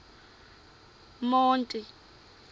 monti